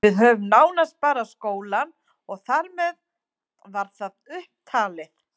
Við höfðum nánast bara skólann og þar með var það upp talið.